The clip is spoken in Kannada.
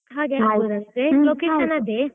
location ಅದೇ.